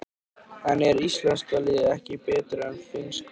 En er íslenska liðið ekki betra en það finnska?